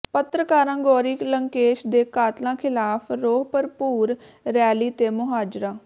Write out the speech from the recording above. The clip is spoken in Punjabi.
ਪੱਤਰਕਾਰਾ ਗੌਰੀ ਲੰਕੇਸ਼ ਦੇ ਕਾਤਲਾਂ ਿਖ਼ਲਾਫ਼ ਰੋਹ ਭਰਪੂਰ ਰੈਲੀ ਤੇ ਮੁਜ਼ਾਹਰਾ